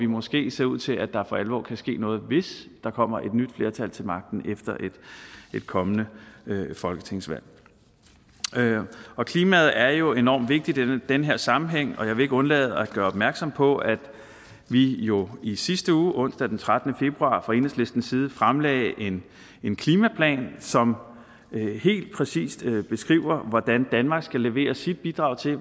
måske ser ud til at der for alvor kan ske noget hvis der kommer et nyt flertal til magten efter et kommende folketingsvalg klimaet er jo enormt vigtigt i den her sammenhæng og jeg vil ikke undlade at gøre opmærksom på at vi jo i sidste uge onsdag den trettende februar fra enhedslistens side fremlagde en klimaplan som helt præcist beskriver hvordan vi mener danmark skal levere sit bidrag til